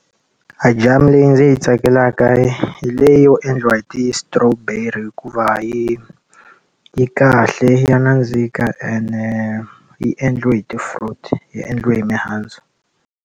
Ajamu leyi ndzi yi tsakelaka yi hi leyi yo endliwa hi ti-strawberry hikuva, yi yi kahle ya nandzika ene yi endliwe hi ti-fruits, yi endliwe hi mihandzu.